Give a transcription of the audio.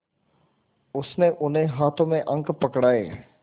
उसने उन्हें हाथों में अंक पकड़ाए